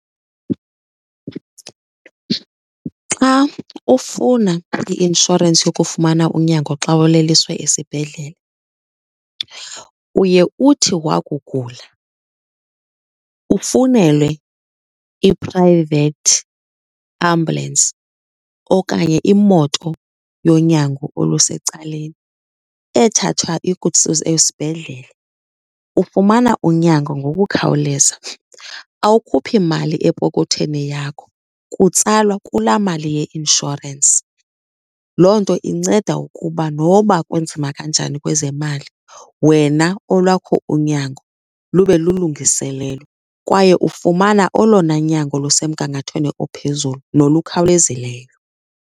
Xa ufuna i-inshorensi yokufumana unyango xa uleliswe esibhedlele uye uthi wakugula ufunele i-private ambulance okanye imoto yonyango olusecaleni ethathwa ikuse esibhedlele, ufumana unyango ngokukhawuleza. Awukhuphi mali epokotheni yakho kutsalwa kulaa mali ye-inshorensi. Loo nto inceda ukuba noba kunzima kanjani kwezemali wena olwakho unyango lube lulungiselelwe kwaye ufumana olona nyango lusemgangathweni ophezulu nolukhawulezileyo.